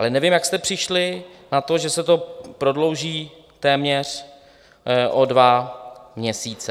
Ale nevím, jak jste přišli na to, že se to prodlouží téměř o dva měsíce.